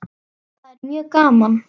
Það er mjög gaman.